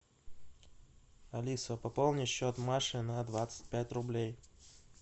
алиса пополни счет маши на двадцать пять рублей